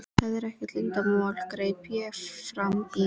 Það er ekkert leyndarmál, greip ég fram í.